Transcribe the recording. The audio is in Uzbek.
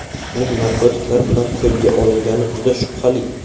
Uning narkotiklar bilan qo‘lga olingani juda shubhali.